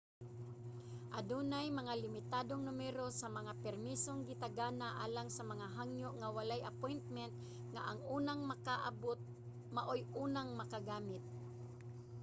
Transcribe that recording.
adunay mga limitadong numero sa mga permisong gitagana alang sa mga hangyo nga walay appointment nga ang unang makaabot maoy unang makagamit